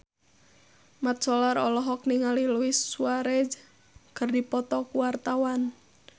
Mat Solar olohok ningali Luis Suarez keur diwawancara